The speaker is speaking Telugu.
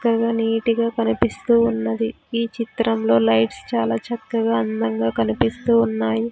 చక్కగా నీటిగా కనిపిస్తూ ఉన్నది ఈ చిత్రంలో లైట్స్ చాలా చక్కగా అందంగా కనిపిస్తూ ఉన్నాయి.